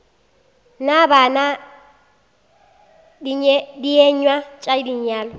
na bana dienywa tša lenyalo